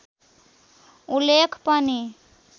उल्लेख पनि